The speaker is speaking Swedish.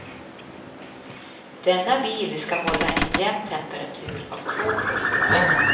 Denna bil ska hålla en jämn temperatur av två plusgrader.